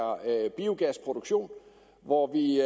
biogasproduktion hvor vi